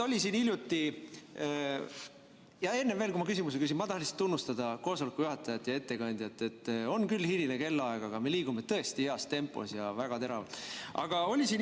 Aga enne veel, kui ma küsimuse küsin, tahan ma tunnustada koosoleku juhatajat ja ettekandjat, et on küll hiline kellaaeg, aga me liigume tõesti heas tempos ja väga teravalt edasi.